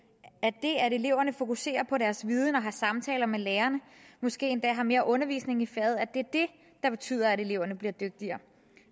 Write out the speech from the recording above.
at eleverne fokuserer på deres viden og har samtaler med lærerne måske endda har mere undervisning i faget er det der betyder at eleverne bliver dygtigere